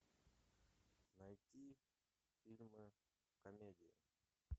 найти фильмы комедии